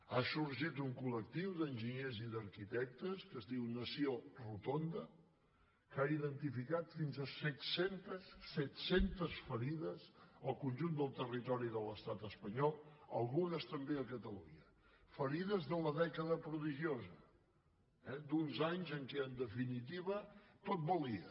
ha sorgit un coles diu nació rotonda que ha identificat fins a set centes set centes ferides al conjunt del territori de l’estat espanyol algunes també catalunya ferides de la dècada prodigiosa eh d’uns anys en què en definitiva tot valia